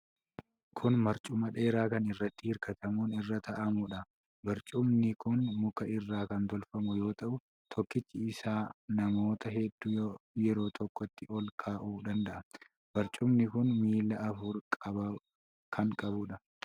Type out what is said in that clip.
Kun barcuma dheeraa kan irratti hirkatamuun irra taa'amuudha. Barcumi kun muka irra kan tolfamu yoo ta'u, tokkichi isaa namoota hedduu yeroo tokkotti ol kaa'uu danda'a. Barcumni kun miila afur kan qabuudha.